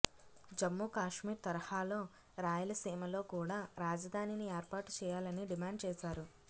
జమ్మూకాశ్మీర్ తరహాలో రాయలసీమలో కూడా రాజధానిని ఏర్పాటు చేయాలని డిమాండ్ చేశారు